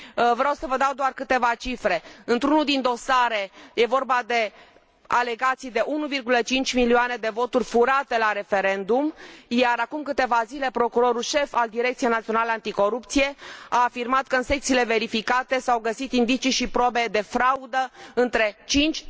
Vreau să vă dau doar câteva cifre într unul din dosare este vorba de alegații de 1,5 milioane de voturi furate la referendum, iar, acum câteva zile, procurorul șef al Direcției Naționale Anticorupție a afirmat că, în secțiile verificate, s au găsit indicii și probe de fraudă între 5